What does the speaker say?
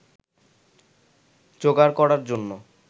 জোগাড় করার জন্য